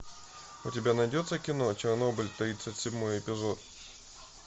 у тебя найдется кино чернобыль тридцать седьмой эпизод